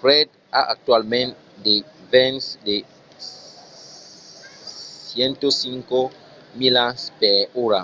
fred a actualament de vents de 105 milas per ora